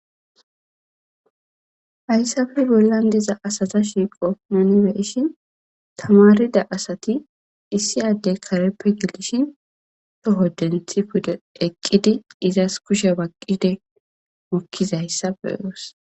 Haysappe bollan diza asata shiiqo nuni beyishin tamarida asati issi adey kareppe gelishin toho denthi pude eqidi izas kushiya baqidi utizaysa beyos